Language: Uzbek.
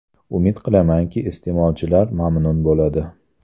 Umid qilamanki, iste’molchilar mamnun bo‘ladi.